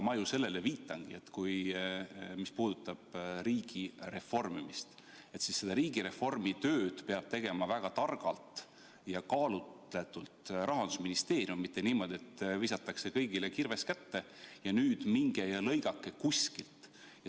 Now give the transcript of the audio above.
Ma ju sellele viitangi, et mis puudutab riigi reformimist, siis seda riigireformitööd peab Rahandusministeerium tegema väga targalt ja kaalutletult, mitte niimoodi, et visatakse kõigile kirves kätte, et nüüd minge ja raiuge kuskilt.